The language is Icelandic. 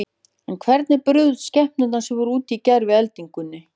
En hvernig brugðust skepnur sem voru úti í gær við eldingunni?